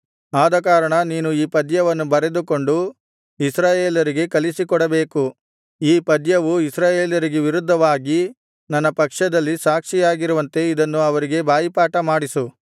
ಆದಕಾರಣ ನೀನು ಈ ಪದ್ಯವನ್ನು ಬರೆದುಕೊಂಡು ಇಸ್ರಾಯೇಲರಿಗೆ ಕಲಿಸಿಕೊಡಬೇಕು ಈ ಪದ್ಯವು ಇಸ್ರಾಯೇಲರಿಗೆ ವಿರುದ್ಧವಾಗಿ ನನ್ನ ಪಕ್ಷದಲ್ಲಿ ಸಾಕ್ಷಿಯಾಗಿರುವಂತೆ ಇದನ್ನು ಅವರಿಗೆ ಬಾಯಿಪಾಠಮಾಡಿಸು